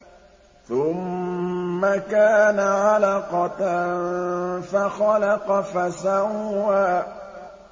ثُمَّ كَانَ عَلَقَةً فَخَلَقَ فَسَوَّىٰ